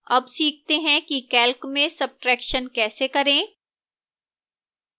अब सीखते हैं कि calc में subtraction कैसे करें